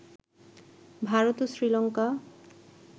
ভারত ও শ্রীলংকা